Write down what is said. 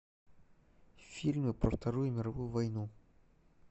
фильмы про вторую мировую войну